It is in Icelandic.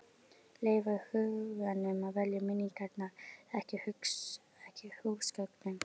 Leyfa huganum að velja minningarnar, ekki húsgögnunum.